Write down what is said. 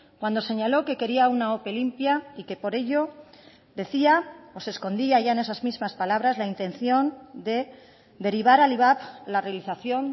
cuando señaló que quería una ope limpia y que por ello decía o se escondía ya en esas mismas palabras la intención de derivar al ivap la realización